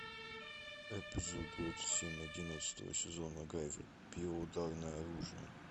эпизод двадцать семь одиннадцатого сезона гайвер био ударное оружие